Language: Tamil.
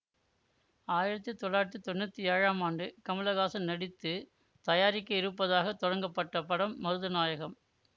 ஆயிரத்தி தொள்ளாயிரத்தி தொன்னூத்தி ஏழாம் ஆண்டு கமலஹாசன் நடித்து தயாரிக்க இருப்பதாக தொடங்கப்பட்ட படம் மருதநாயகம்